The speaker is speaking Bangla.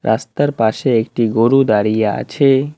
রাস্তার পাশে একটি গরু দাঁড়িয়ে আছে।